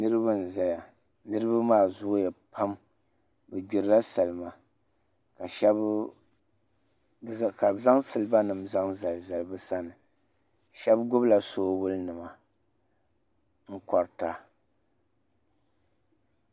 Niraba n ʒɛya niraba maa zooya pam bi gbirila salima ka shab ka bi zaŋ siliba nim zaŋ zalizali bi sani shab gbubila soobuli nima n korita